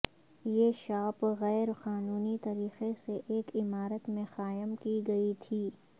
یہ شاپ غیر قانونی طریقے سے ایک عمارت میں قائم کی گئی تھی